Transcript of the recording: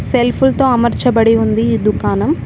Self లతో అమర్చబడి ఉంది ఈ దుకాణం.